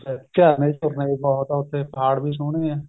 ਜੀ sir ਝਰਨੇ ਝੁਰਨੇ ਬਹੁਤ ਆ ਉੱਥੇ ਪਹਾੜ ਵੀ ਸੋਹਣੇ ਆ